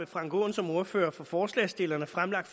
frank aaen som ordfører for forslagsstillerne fremsat